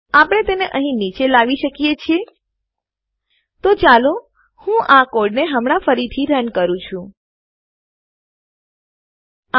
આપણે તેને અહીં નીચે લાવી શકીએ છીએ તો ચાલો હું આ કોડને હમણા ફરીથી રન ચલાવવું કરું છુ